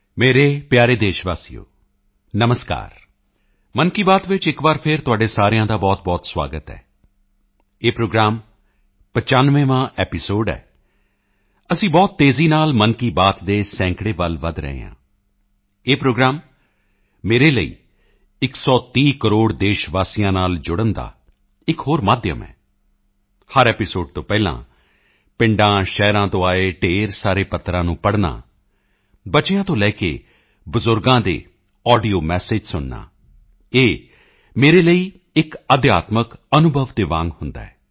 ਮੇਰੇ ਪਿਆਰੇ ਦੇਸ਼ਵਾਸੀਓ ਨਮਸਕਾਰ ਮਨ ਕੀ ਬਾਤ ਵਿੱਚ ਇੱਕ ਵਾਰ ਫਿਰ ਤੁਹਾਡੇ ਸਾਰਿਆਂ ਦਾ ਬਹੁਤਬਹੁਤ ਸੁਆਗਤ ਹੈ ਇਹ ਪ੍ਰੋਗਰਾਮ 95ਵਾਂ ਐਪੀਸੋਡ ਹੈ ਅਸੀਂ ਬਹੁਤ ਤੇਜ਼ੀ ਨਾਲ ਮਨ ਕੀ ਬਾਤ ਦੇ ਸੈਂਕੜੇ ਵੱਲ ਵਧ ਰਹੇ ਹਾਂ ਇਹ ਪ੍ਰੋਗਰਾਮ ਮੇਰੇ ਲਈ 130 ਕਰੋੜ ਦੇਸ਼ਵਾਸੀਆਂ ਨਾਲ ਜੁੜਨ ਦਾ ਇੱਕ ਹੋਰ ਮਾਧਿਅਮ ਹੈ ਹਰ ਐਪੀਸੋਡ ਤੋਂ ਪਹਿਲਾਂ ਪਿੰਡਾਂਸ਼ਹਿਰਾਂ ਤੋਂ ਆਏ ਢੇਰ ਸਾਰੇ ਪੱਤਰਾਂ ਨੂੰ ਪੜ੍ਹਨਾ ਬੱਚਿਆਂ ਤੋਂ ਲੈ ਕੇ ਬਜ਼ੁਰਗਾਂ ਦੇ ਆਡੀਓ ਮੈਸਿਜ ਸੁਣਨਾ ਇਹ ਮੇਰੇ ਲਈ ਇੱਕ ਅਧਿਆਤਮਿਕ ਅਨੁਭਵ ਦੇ ਵਾਂਗ ਹੁੰਦਾ ਹੈ